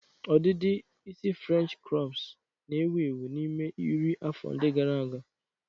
Ọdịdị isi frenchị krọps na-ewu ewu n'ime iri afọ ndị gara aga.